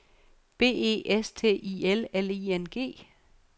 B E S T I L L I N G